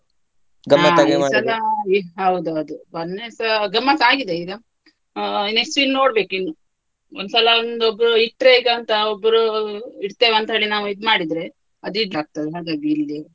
ಹೌದೌದು, ಮೊನ್ನೆಸ ಗಮ್ಮತ್ ಆಗಿದೆ ಈಗ, ಆ next ಇನ್ನ್ ನೋಡ್ಬೇಕು ಇನ್ನ್, ಒಂದ್ಸಲ ಒಂದು ಇಟ್ರೆಗಂತ ಒಬ್ರೂ ಇಡ್ತೆವೆ ಅಂತ ಹೇಳಿ ನಾವು ಇದ್ ಮಾಡಿದ್ರೆ ಅದು ಹಾಗಾಗಿ ಇಲ್ಲಿ.